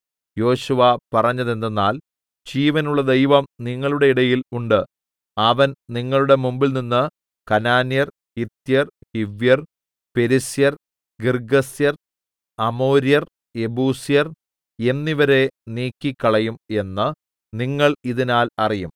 യോശുവ പറഞ്ഞതെന്തെന്നാൽ ജീവനുള്ള ദൈവം നിങ്ങളുടെ ഇടയിൽ ഉണ്ട് അവൻ നിങ്ങളുടെ മുമ്പിൽനിന്ന് കനാന്യർ ഹിത്യർ ഹിവ്യർ പെരിസ്യർ ഗിർഗ്ഗസ്യർ അമോര്യർ യെബൂസ്യർ എന്നിവരെ നീക്കിക്കളയും എന്ന് നിങ്ങൾ ഇതിനാൽ അറിയും